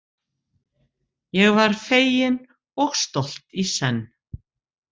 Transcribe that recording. Ég var fegin og stolt í senn.